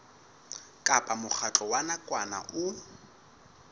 kapa mokgatlo wa nakwana o